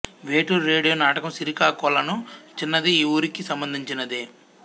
Veturi radio నాటకం సిరికాకొలను చిన్నది ఈ ఊరికి సంబంధించినదే